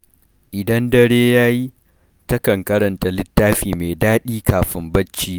Idan dare ya yi, takan karanta littafi mai daɗi kafin barci.